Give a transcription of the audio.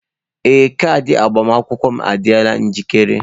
Ee, kaadị agbamakwụkwọ m adịla njikere.